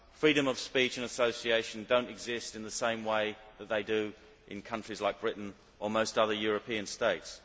freedom of speech and association do not exist in the same way that they do in countries like Britain or most other European states.